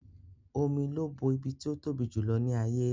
Omi ló bo ibi tí ó tóbi jù ní ilẹ̀ ayé